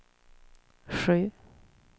sju